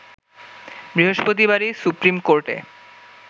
বৃহস্পতিবারই supreme কোর্টে